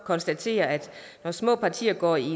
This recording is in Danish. konstatere at når små partier går i